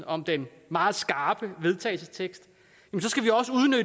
om den meget skarpe vedtagelsestekst